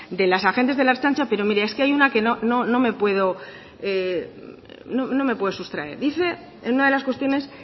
de las agentes de la ertzaintza pero mire es que hay una que no me puedo sustraer dice en una de las cuestiones